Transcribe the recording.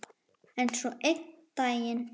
En svo einn daginn.